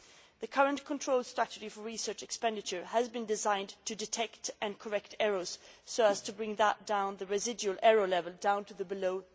The current control strategy for research expenditure has been designed to detect and correct errors so as to bring the residual error level down to below